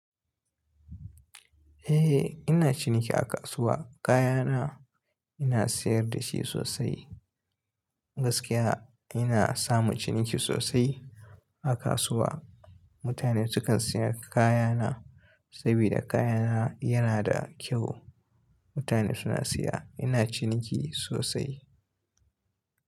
Eh ina ciniki a kasuwa. Kaya na ina siyar dashi sosai. Gaskiya ina samu ciniki sosai a kasuwa. Mutane sukan siya kaya na sabida kaya na yana da kyau. Mutane suna siya. Ina ciniki sosai.